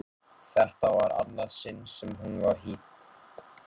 Þetta var í annað sinn sem hún var hýdd.